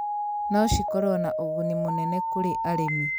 no cikorũo na ũguni mũnene kũrĩ arĩmi